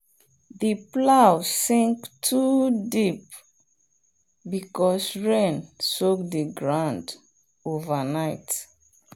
the plow sink too deep because rain soak the ground overnight.